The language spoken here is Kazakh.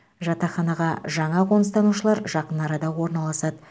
жатақханаға жаңа қоныстанушылар жақын арада орналасады